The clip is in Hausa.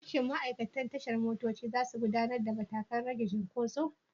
Shin ma'aikatan tashar motoci za su aiwatar da matakan rage cunkoso?